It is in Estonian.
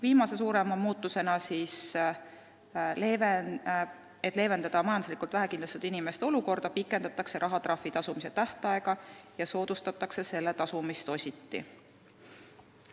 Viimane suurem muudatus on see, et leevendatakse majanduslikult vähekindlustatud inimeste olukorda, pikendades rahatrahvi tasumise tähtaega ja soodustades selle tasumist ositi.